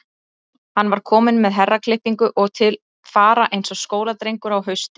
Hann var kominn með herraklippingu og til fara eins og skóladrengur á hausti.